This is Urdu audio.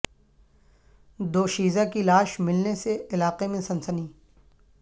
دو شیز ہ کی لاش ملنے سے علاقہ میں سنسنی